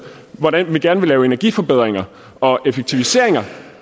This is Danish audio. hvordan vi gerne vil lave energiforbedringer og effektiviseringer